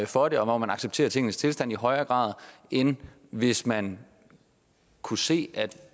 for det og hvor man accepterer tingenes tilstand i højere grad end hvis man kunne se at